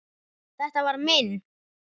Þetta var minn.